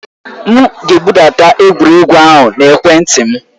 M ga-ebudata egwuregwu ahụ na ekwentị m.